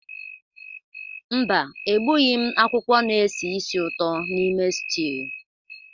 Mba, egbughị m akwụkwọ na-esi ísì ụtọ n'ime stew